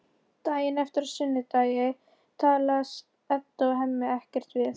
Daginn eftir, á sunnudegi, talast Edda og Hemmi ekkert við.